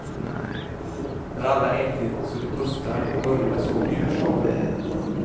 När alla ätit så de pustar börjar så julshowen.